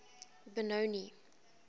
benoni